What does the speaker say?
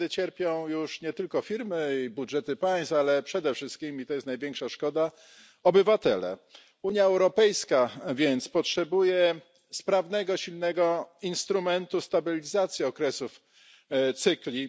Wtedy cierpią już nie tylko firmy i budżety państw, ale przede wszystkim i to jest największa szkoda obywatele. Unia Europejska potrzebuje więc sprawnego, silnego instrumentu stabilizacji okresów, cykli.